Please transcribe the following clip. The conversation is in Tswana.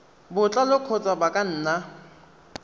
botlalo kgotsa ba ka nna